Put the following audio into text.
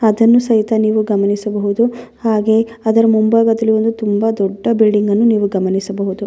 ಅದನ್ನು ಸಹಿತ ನೀವು ಗಮನಿಸಬಹುದು ಹಾಗೆಯೆ ಅದರ ಮುಂಭಾಗದಲ್ಲಿ ಒಂದು ತುಂಬ ದೊಡ್ಡ ಬಿಲ್ಡಿಂಗ್ಗನ್ನು ನೀವು ಗಮನಿಸಬಹುದು.